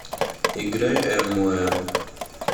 играй эмму м